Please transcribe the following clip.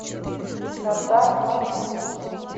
хатар маршрут